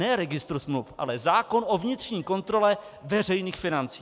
Ne registr smluv, ale zákon o vnitřní kontrole veřejných financí.